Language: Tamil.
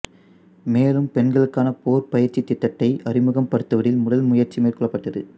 மேலும் பெண்களுக்கான போர் பயிற்சித் திட்டத்தை அறிமுகப்படுத்துவதில் முதல் முயற்சி மேற்கொள்ளப்பட்டது